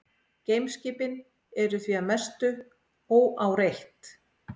Geimskipin eru því að mestu óáreitt.